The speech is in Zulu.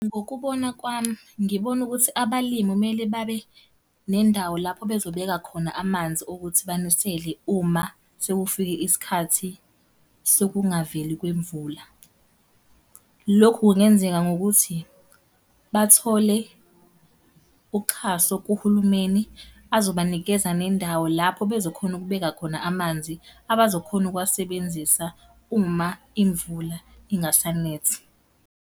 Ngokubona kwami, ngibona ukuthi abalimu kumele babe nendawo lapho bezobeka khona amanzi ukuthi banisele uma sekufike isikhathi sokungaveli kwemvula. Lokhu kungenzeka ngokuthi bathole uxhaso kuhulumeni, azobanikeza nendawo lapho bezokhona ukubeka khona amanzi abazokhona ukuwasebenzisa uma imvula ingaseni.